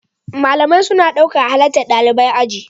Malamai suna ɗaukan halartar ɗalibai aji.